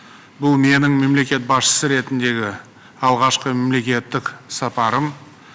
бұл менің мемлекет басшы ретінде алғашқы мемлекеттік сапарым